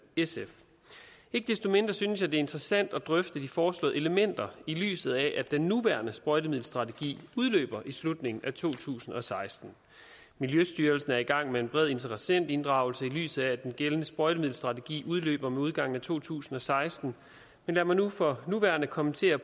sf ikke desto mindre synes jeg det er interessant at drøfte de foreslåede elementer i lyset af at den nuværende sprøjtemiddelstrategi udløber i slutningen af to tusind og seksten miljøstyrelsen er i gang med en bred interessentinddragelse i lyset af at den gældende sprøjtemiddelstrategi udløber med udgangen af to tusind og seksten lad mig for nuværende kommentere